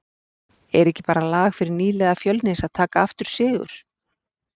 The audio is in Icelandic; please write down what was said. Er ekki bara lag fyrir nýliða Fjölnis að taka aftur sigur?